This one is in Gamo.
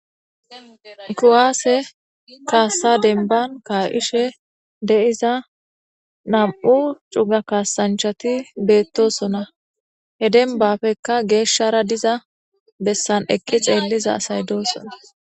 kuwaase kaassa denban ka7ishe deiza nam7u cuga kaasanchati beettosona he denbafekka geeshshara diza bessan eqqi xeelliza asay doosona